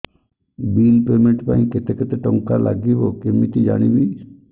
bill payment ପାଇଁ କେତେ କେତେ ଟଙ୍କା ଲାଗିବ କେମିତି ଜାଣିବି